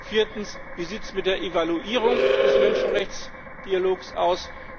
Viertens Wie sieht es mit der Evaluierung des Menschenrechtsdialogs aus?